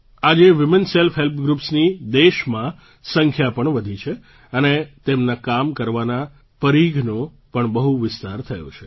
આજે women self હેલ્પગ્રૂપ્સની દેશમાં સંખ્યા પણ વધી છે અને તેમના કામ કરવાના પરીઘનો પણ બહુ વિસ્તાર થયો છે